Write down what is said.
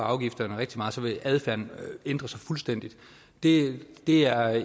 afgifterne rigtig meget vil adfærden ændre sig fuldstændig det er